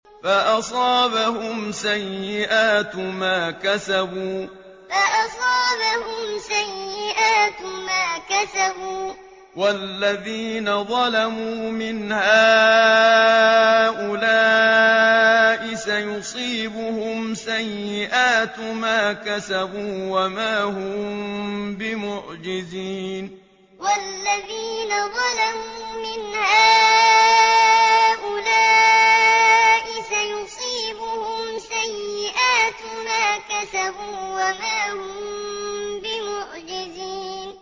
فَأَصَابَهُمْ سَيِّئَاتُ مَا كَسَبُوا ۚ وَالَّذِينَ ظَلَمُوا مِنْ هَٰؤُلَاءِ سَيُصِيبُهُمْ سَيِّئَاتُ مَا كَسَبُوا وَمَا هُم بِمُعْجِزِينَ فَأَصَابَهُمْ سَيِّئَاتُ مَا كَسَبُوا ۚ وَالَّذِينَ ظَلَمُوا مِنْ هَٰؤُلَاءِ سَيُصِيبُهُمْ سَيِّئَاتُ مَا كَسَبُوا وَمَا هُم بِمُعْجِزِينَ